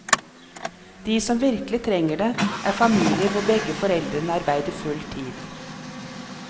De som virkelig trenger det, er familier hvor begge foreldre arbeider full tid.